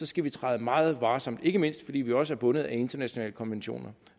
skal vi træde meget varsomt ikke mindst fordi vi også er bundet af internationale konventioner